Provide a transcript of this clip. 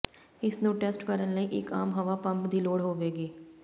ਇਸ ਨੂੰ ਟੈਸਟ ਕਰਨ ਲਈ ਇੱਕ ਆਮ ਹਵਾ ਪੰਪ ਦੀ ਲੋੜ ਹੋਵੇਗੀ